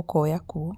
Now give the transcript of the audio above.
ũkoya kuo.